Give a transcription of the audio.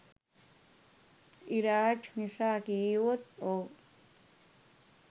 ඉරාජ් නිසා කීවොත් ඔව්.